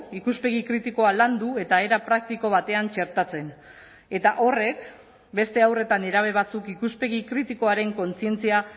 ikuspegi kritikoa landu eta era praktiko batean txertatzen eta horrek beste haur eta nerabe batzuk ikuspegi kritikoaren kontzientzia